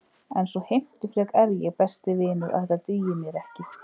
En svo heimtufrek er ég, besti vinur, að þetta dugir mér ekki.